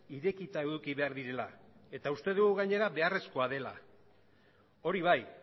irekita eduki behar direla eta uste dugu gainera beharrezkoa dela hori bai